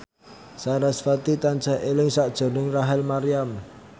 sarasvati tansah eling sakjroning Rachel Maryam